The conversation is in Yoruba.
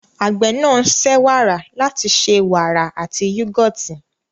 Àgbẹ̀ náà ń ṣe wàrà láti ṣe wàrà àti yúgọ́ọ̀tì.